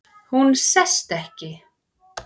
Hún sest ekki.